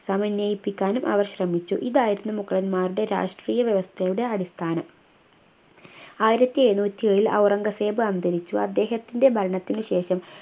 സമന്വയിപ്പിക്കാനും അവർ ശ്രമിച്ചു ഇതായിരുന്നു മുഗളന്മാരുടെ രാഷ്ട്രീയ വ്യവസ്ഥയുടെ അടിസ്ഥാനം ആയിരത്തി എഴുന്നൂറ്റി ഏഴിൽ ഔറംഗസേബ് അന്തരിച്ചു അദ്ദേഹത്തിൻ്റെ ഭരണത്തിനുശേഷം